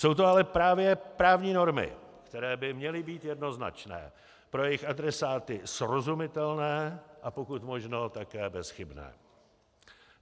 Jsou to ale právě právní normy, které by měly být jednoznačné, pro jejich adresáty srozumitelné a pokud možno také bezchybné.